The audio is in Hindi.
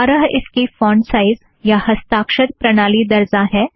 बारह इसकी फ़ॉन्ट साइज़ या हस्ताक्षर प्रणाली दरज़ा है